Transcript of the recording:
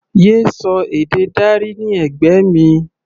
Yé sọ èdè Dari ní ẹ̀gbẹ́ mi!